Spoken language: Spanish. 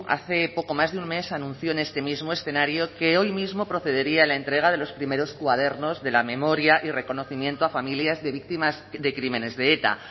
hace poco más de un mes anunció en este mismo escenario que hoy mismo procedería a la entrega de los primeros cuadernos de la memoria y reconocimiento a familias de víctimas de crímenes de eta